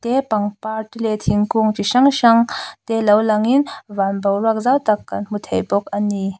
pangpar te leh thingkung chi hrang hrang te lo lang in van boruak zau tak kan hmu thei bawk ani.